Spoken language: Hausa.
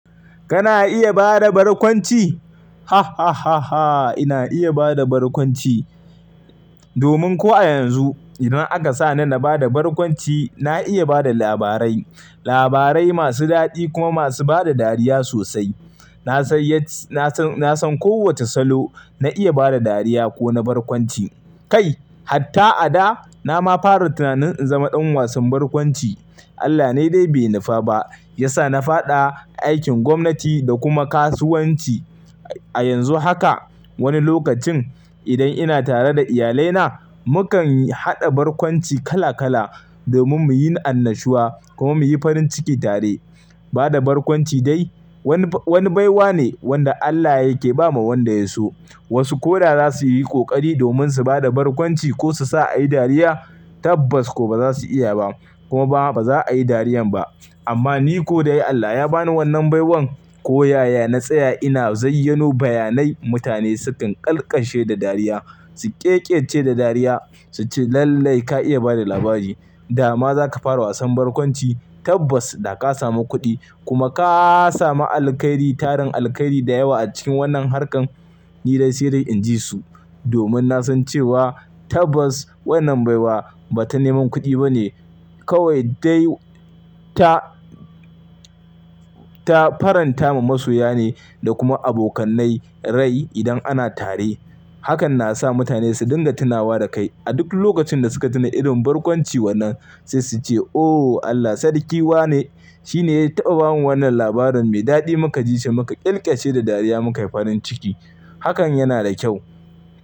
Kana iya bada barkonci? Hahahaha ina iya bada borkonci. Domin ko a yanzu idan aka sa ni na bada barkonci, na iya bada labarai, labarai masu daɗi kuma masu bada dariya sosai. Na san kowoce salo na iya bada dariya ko na borkonci. Kai, hatta a da na ma fara tunanin in zama ɗan wasan borkonci. Allah ne dai bai nufa ba, ya sa na faɗa a aikin gwamnati da kuma kasuwanci. A yanzu haka woni lokacin idan ina tare da iyalai na, mu kan haɗa borkonci kala kala domin muyi annashuwa ko muyi farin ciki tare. Bada borkonci dai woni baiwa ne wanda Allah yake ba ma wanda ya so. Wasu ko da za su yi ƙoƙari domin su bada borkonci ko su sa a yi dariya tabbas ko ba za su iya ba kuma ba za a yi dariyan ba. Amma ni ko dai Allah ya ba ni wannan baiwan ko yaya na tsaya ina zan zai yano bayanai mutane sukan ƙalkashe da dariya, su ƙeƙece da dariya, suce lallai ka iya bada labari. Da ma za ka fara wasan borkonci tabbas da ka samu kuɗi kuma ka samu alkairi, tarin alkairi da yawa a cikin wannan harkan ni dai sai dai in ji su. Domin na san cewa tabbas wannan baiwa ba ta neman kuɗi ba ne kawai dai ta ta faranta ma masoya ne da kuma abokanai rai idan ana tare. Hakan na sa mutane su dinga tunawa da kai a duk lokacin da suka tuna irin borkonci wannan sai su ce "O Allah sarki wa ne. Shi ne ya taɓa bamu wannan labarin mai daɗi muka ji shi muka ƙeƙece da dariya muka yi farin ciki." Hakan yana da kyau.